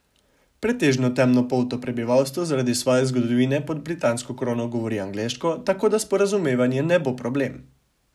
Pretežno temnopolto prebivalstvo zaradi svoje zgodovine pod britansko krono govori angleško, tako da sporazumevanje ne bo problem.